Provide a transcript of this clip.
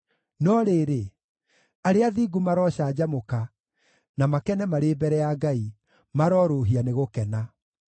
No rĩrĩ, arĩa athingu marocanjamũka na makene marĩ mbere ya Ngai; marorũũhia nĩ gũkena.